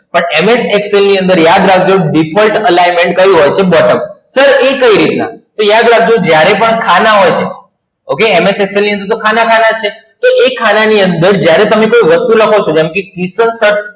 પણ MS Excel ની અંદર યાદ રાખજો Default Alignment ક્યુ હતું? Bottom તો ઇ કઈ રીતના? તો યાદ રાખજો જ્યારે પણ ખાના હોય છે, OkayMS Excel ની અંદર તો ખાના છે. તો એક ખાના ની અંદર જ્યારે તમે કોઈ વસ્તુ લખો છો જેમ કે શ્રીફળ